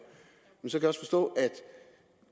men så kan jeg også forstå